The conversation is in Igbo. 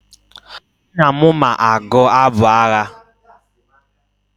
Nna m ma agụ abụ agha.